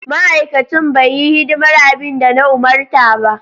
Ma'aikacin bai yi hidimar abin da na umarta ba.